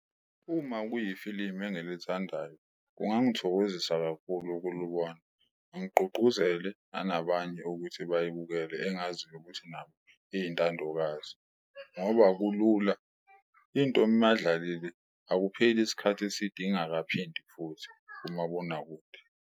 Uma kuyifilimi engilithandayo kungangithokozisa kakhulu ukulibona, ngigqugquzele nanabanye ukuthi buyibukele engaziyo ukuthi nabo eyintandokazi ngoba kulula, into madlalalile akupheli isikhathi eside ingakaphindi futhi kumabonakude.